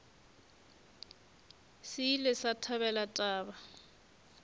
se ile sa thabela taba